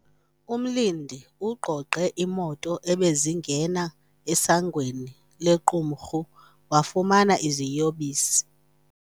Umlindi ugqogqe iimoto ebezingena esangweni lequmrhu, wafumana iziyobisi.